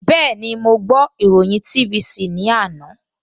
Bẹ́ẹ̀ni, mo ìròyìn TVC ní àná